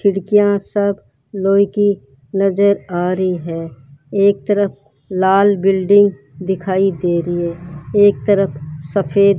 खिड़कियां सब लोहे की नजर आ रही है एक तरफ लाल बिल्डिंग दिखाई दे री है एक तरफ सफेद --